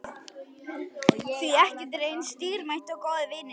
Því ekkert er eins dýrmætt og góðir vinir.